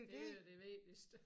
Det da det vigtigeste